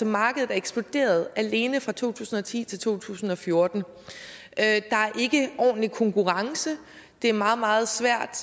markedet er eksploderet alene fra to tusind og ti til to tusind og fjorten der er ikke ordentlig konkurrence det er meget meget svært